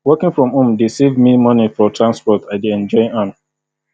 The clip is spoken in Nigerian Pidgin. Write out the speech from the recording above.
working from home dey save me money for transport i dey enjoy am